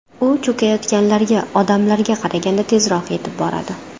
U cho‘kayotganlarga odamlarga qaraganda tezroq yetib boradi.